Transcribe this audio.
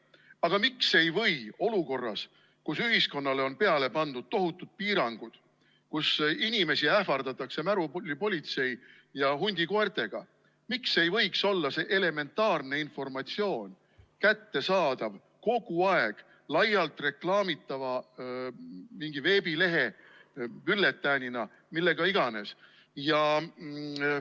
Aga miks ei või olukorras, kus ühiskonnale on peale pandud tohutud piirangud, kus inimesi ähvardatakse märulipolitsei ja hundikoertega, elementaarne informatsioon olla kättesaadav kogu aeg laialt reklaamitava mingi veebilehena, bülletäänina või millena iganes?